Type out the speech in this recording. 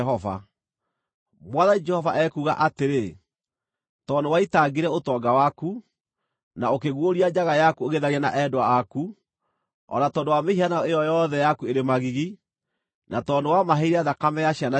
Mwathani Jehova ekuuga atĩrĩ: Tondũ nĩwaitangire ũtonga waku, na ũkĩguũria njaga yaku ũgĩtharia na endwa aku, o na tondũ wa mĩhianano ĩyo yothe yaku ĩrĩ magigi, na tondũ nĩwamaheire thakame ya ciana ciaku,